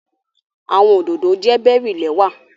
Awọn ododo jẹ bery lẹwa